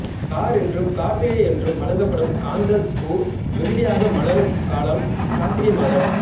car என்றும் கார்த்திகை என்றும் வழங்கப்படும் காந்தள் பூ மிகுதியாக மலரும் காலம் கார்த்திகை மாதம்